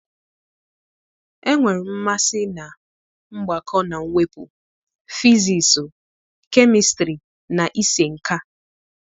Enwere m mmasị na mgbakọ na mwepụ, fizisụ, kemistrị na ịse nka.